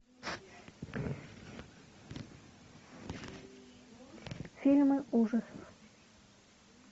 фильмы ужасов